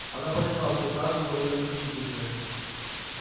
она поняла что каша заварилась нешуточная